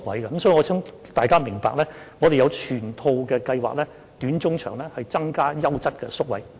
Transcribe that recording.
所以，我想大家明白，我們有整套短、中、長期的計劃以增加優質的宿位。